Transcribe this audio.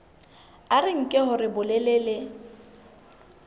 a re nke hore bolelele